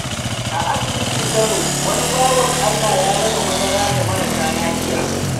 A asibitin Kano, wani bawan Allah ya raba madara ga marasa lafiya.